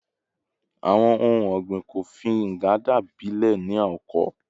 Awọn ohun ọgbin Kofi Nganda gbilẹ ni oko